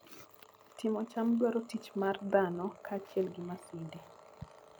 Timo cham dwaro tich mar dhano kaachiel gi masinde.